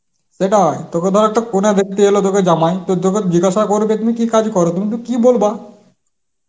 সেটা, তোকে ধর হয়তো কোনে দেখতে এলো তোকে জামাই তো তোকে জিজ্ঞাসা করবে তুমি কি কাজ কর, তুমি তো কি বলবা?